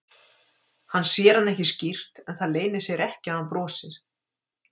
Hann sér hann ekki skýrt en það leynir sér ekki að hann brosir.